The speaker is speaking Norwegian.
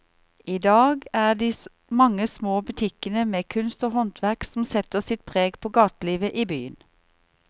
I dag er det de mange små butikkene med kunst og håndverk som setter sitt preg på gatelivet i byen.